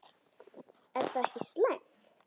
Er það ekki slæmt?